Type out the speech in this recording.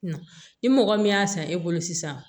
Na ni mɔgɔ min y'a san e bolo sisan